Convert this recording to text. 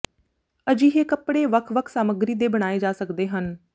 ਅਜਿਹੇ ਕੱਪੜੇ ਵੱਖ ਵੱਖ ਸਾਮੱਗਰੀ ਦੇ ਬਣਾਏ ਜਾ ਸਕਦੇ ਹਨ